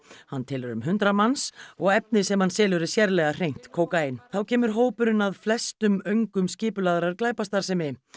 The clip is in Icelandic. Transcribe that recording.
hann telur um hundrað manns og efnið sem hann selur er sérlega hreint kókaín þá kemur hópurinn að flestum öngum skipulagðrar glæpastarfsemi